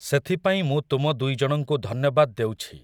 ସେଥିପାଇଁ ମୁଁ ତୁମ ଦୁଇଜଣଙ୍କୁ ଧନ୍ୟବାଦ୍ ଦେଉଛି ।